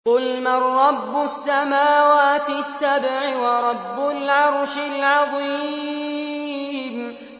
قُلْ مَن رَّبُّ السَّمَاوَاتِ السَّبْعِ وَرَبُّ الْعَرْشِ الْعَظِيمِ